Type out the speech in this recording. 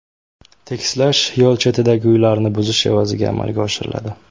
Tekislash yo‘l chetidagi uylarni buzish evaziga amalga oshiriladi.